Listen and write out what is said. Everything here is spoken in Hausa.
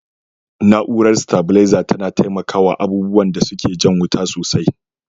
Na'urar sitabilarza tana taimakawa abubuwan da suke jan wuta sosai.